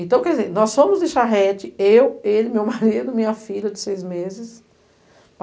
Então, quer dizer, nós fomos de charrete, eu, ele, meu marido, minha filha de seis meses.